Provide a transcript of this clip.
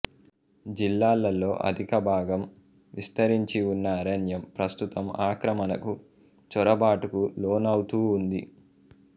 జిల్లాలో అధికభాగం విస్తరించి ఉన్న అరణ్యం ప్రస్తుతం ఆక్రమణకు చొరబాటుకు లోనౌతూ ఉంది